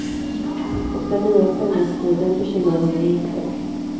Och den nya sändningstiden bekymrar honom inte.